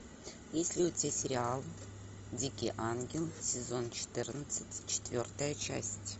есть ли у тебя сериал дикий ангел сезон четырнадцать четвертая часть